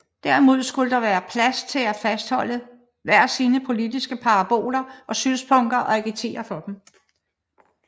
Derimod skulle der være fri plads til at fastholde hver sine politiske paroler og synspunkter og agitere for dem